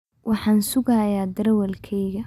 Waxaan sugayaa darewalkayga.